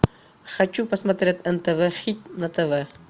хочу посмотреть нтв хит на тв